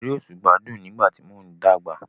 Eré òṣùpá dùn nígbà tí mò ń dàgbà.